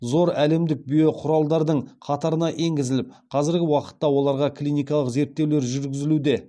зор әлемдік биоқұралдардың қатарына енгізіліп қазіргі уақытта оларға клиникалық зерттеулер жүргізілуде